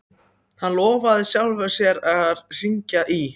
Hann lofaði sjálfum sér að hringja í